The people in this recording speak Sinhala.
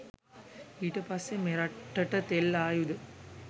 ඊට පස්සෙ මෙරටට තෙල් ආයුද